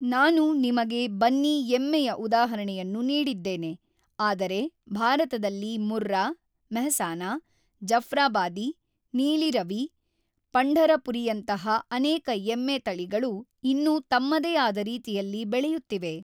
ನಾನು ನಿಮಗೆ ಬನ್ನಿ ಎಮ್ಮೆಯ ಉದಾಹರಣೆಯನ್ನು ನೀಡಿದ್ದೇನೆ, ಆದರೆ ಭಾರತದಲ್ಲಿ ಮುರ್ರಾ, ಮೆಹ್ಸಾನಾ, ಜಫ್ರಾಬಾದಿ, ನೀಲಿ ರವಿ, ಪಂಢರಪುರಿಯಂತಹ ಅನೇಕ ಎಮ್ಮೆ ತಳಿಗಳು ಇನ್ನೂ ತಮ್ಮದೇ ಆದ ರೀತಿಯಲ್ಲಿ ಬೆಳೆಯುತ್ತಿವೆ.